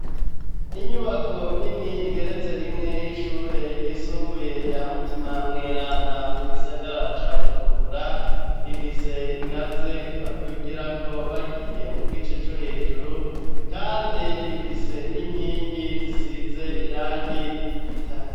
Inyubako nini igeretse rimwe y'ishure ryisumbuye rya mutima mweranda mu gisagara ca bujumbura ifise ingazi badugira ko bagiye mu gice co hejuru kandi ifise n'inkingi zisize irangi ry'igitare.